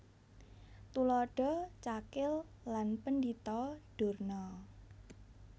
Tuladha Cakil lan Pendhita Durna